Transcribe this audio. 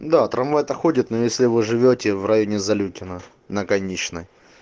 да трамвай то ходит но если вы живете в районе залютино на конечной